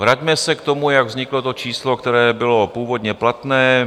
Vraťme se k tomu, jak vzniklo to číslo, které bylo původně platné.